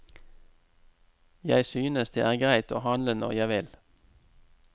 Jeg synes det er greit å handle når jeg vil.